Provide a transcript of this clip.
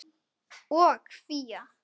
og Fía.